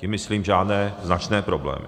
Tím myslím žádné značné problémy.